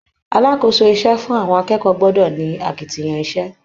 Alákòóso iṣẹ́ fún àwọn akẹ́kọ̀ọ́ gbọ́dọ̀ ni akitiyan iṣẹ́